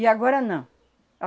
E agora não.